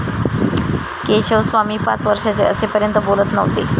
केशवस्वामी पाच वर्षाचे असेपर्यंत बोलत नव्हते.